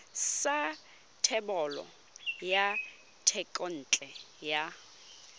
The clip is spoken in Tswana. sa thebolo ya thekontle ya